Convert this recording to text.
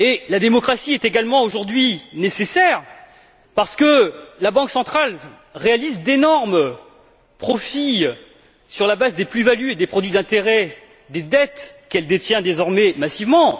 La démocratie est également, aujourd'hui, nécessaire parce que la Banque centrale réalise d'énormes profits sur la base des plus values et des produits d'intérêt des dettes qu'elle détient désormais massivement.